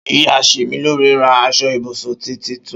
Íyá semilore rà àsọ ìbùsùn títítùn